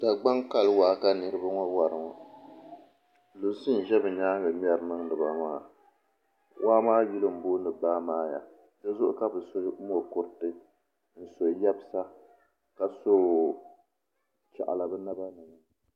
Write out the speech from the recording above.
Dagbaŋ kali waa ka niraba ŋo wari ŋo lunsi n ʒɛ bi nyaanŋa ŋmɛri niŋdiba maa waa maa yuli n booni baamaaya dizuɣu ka bi so mokuruti n so yɛbsa ka so chaɣala bi naba ni